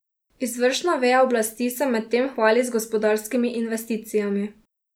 Izvršna veja oblasti se medtem hvali z gospodarskimi investicijami.